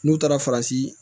N'u taara farasi